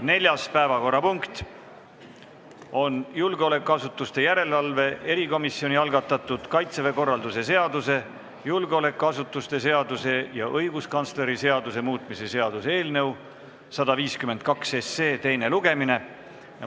Neljas päevakorrapunkt on julgeolekuasutuste järelevalve erikomisjoni algatatud Kaitseväe korralduse seaduse, julgeolekuasutuste seaduse ja õiguskantsleri seaduse muutmise seaduse eelnõu 152 teine lugemine.